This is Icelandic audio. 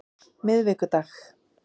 miðvikudag